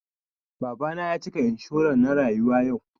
Baba na ya cika inshuran na rayuwa yau